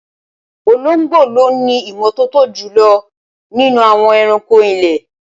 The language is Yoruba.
Olóngbò ló ní ìmọ́tótó jùlọ nínú àwọn ẹranko ilé